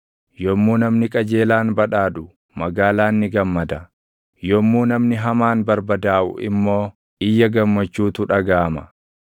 Yommuu namni qajeelaan badhaadhu magaalaan ni gammada; yommuu namni hamaan barbadaaʼu immoo iyya gammachuutu dhagaʼama.